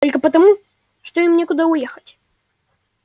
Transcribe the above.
только потому что им некуда уехать